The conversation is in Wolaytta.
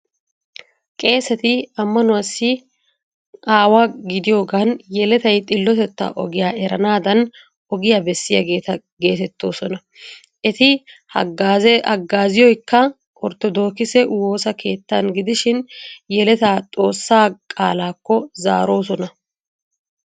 Qeeseti ammanuwaassi aawa gidiyogan yeletay xillotetta ogiya eranaadan ogiya bessiyageeta geetettoosona. Eti haggazziyoykka orttodookise woosa keettan gidishin yeleta xoossaa qaalaakko zaaroosona.